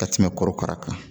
Ka tɛmɛ korokara kan